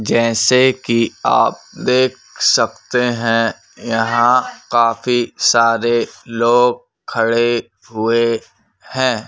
जैसे कि आप देख सकते हैं यहां काफी सारे लोग खड़े हुए हैं।